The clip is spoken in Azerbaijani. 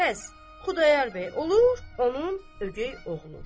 Bəs Xudayar bəy olur onun ögey oğlu.